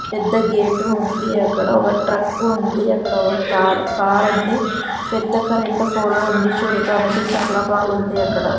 పెద్ద గేటు ఉంది అక్కడ ఒక ట్రక్కు ఉంది అక్కడ ఒక కార్ కారుంది పెద్ద కరెంటు ఫోలు ఉంది చూడటానికి చాలా బాగుంది అక్కడ.